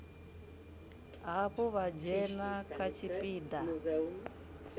hafhu vha dzhena kha tshipiḓa